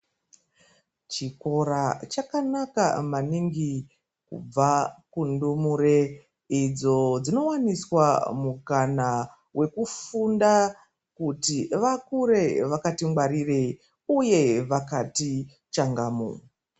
Chikora chakanaka maningi kubva kundumure idzo dzinowaniswa mukana wekufunda kuti vakure vakati ngwarire uye vakati changamu.